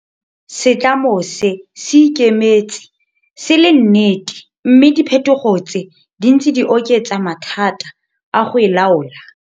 Setlamo se se ikemetse se le nnete mme diphethogo tse di ntse di oketsa mathata a go e laola.